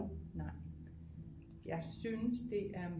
Nej jeg synes det er